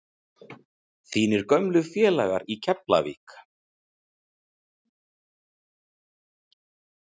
Þínir gömlu félagar í Keflavík?